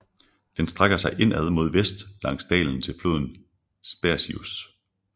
Den strækker sig indad mod vest langs dalen til floden Spercheios